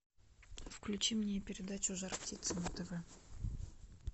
включи мне передачу жар птица на тв